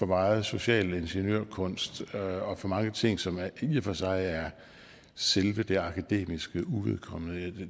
megen social ingeniørkunst og for mange ting som i og for sig er selve det akademiske uvedkommende